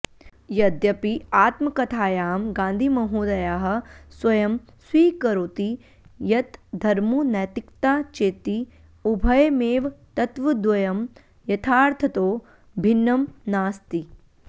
यद्यपि आत्मकथायां गान्धिमहोदयः स्वयं स्वीकरोति यत् धर्मो नैतिकता चेति उभयमेव तत्त्वद्वयं यथार्थतो भिन्नं नास्ति